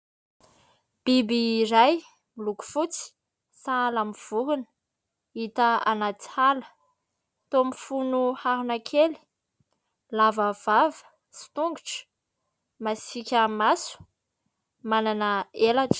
Biby iray miloko fotsy sahala amin'ny vorona, hita any anaty ala. Toa mifono harona kely ; lava vava sy tongotra, masika maso, manana elatra.